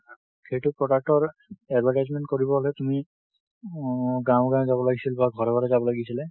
সেইটো product ৰ advertisement কৰিব হলে তুমি, উম গাঁও এ, গাঁও এ যাব লাগিছিল বা ঘৰে, ঘৰে যাব লাগিছিলে।